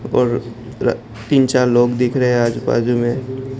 और तीन चार लोग दिख रहे हैं आज बाजू में।